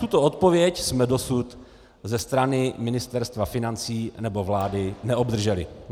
Tuto odpověď jsme dosud ze strany Ministerstva financí nebo vlády neobdrželi.